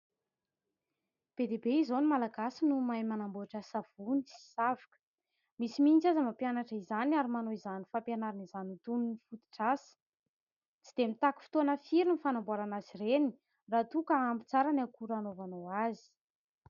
Be dia be izao no malagasy no mahay manamboatra savony sy savoka, misy mihitsy aza mampianatra izany ary manao izany fampianaran'izany ho toy ny fototr'asa, tsy dia mitaky fotoana firy ny fanamboarana azy ireny raha toa ka ampy tsara ny akora hanaovanao azy.